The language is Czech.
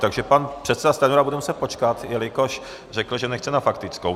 Takže pan předseda Stanjura bude muset počkat, jelikož řekl, že nechce na faktickou.